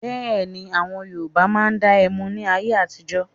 Bẹ́ẹ̀ni, àwọn Yorùbá máa ń dá ẹmu ní ayé àtijọ́.